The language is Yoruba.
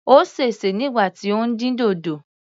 Ó sèse nígbà tí ó ń dín dòdò.